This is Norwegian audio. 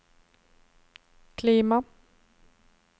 klima